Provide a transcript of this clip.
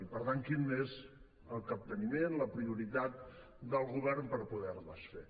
i per tant quin és el capteniment la prioritat del govern per poder les fer